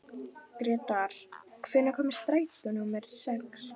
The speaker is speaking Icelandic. Gretar, hvenær kemur strætó númer sex?